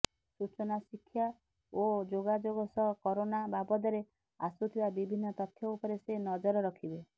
ସୂଚନା ଶିକ୍ଷା ଓ ଯୋଗାଯୋଗ ସହ କରୋନା ବାବଦରେ ଆସୁଥିବା ବିଭିନ୍ନ ତଥ୍ୟ ଉପରେ ସେ ନଜର ରଖିବେ